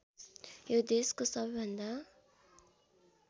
यो देशको सबैभन्दा